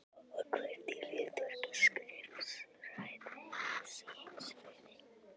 Og hvert er hlutverk skrifræðis í heimsfriði?